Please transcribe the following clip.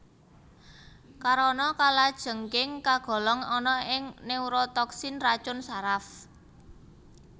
Karana kalajengking kagolong ana ing neurotoksin racun saraf